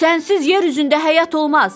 Sənsiz yer üzündə həyat olmaz.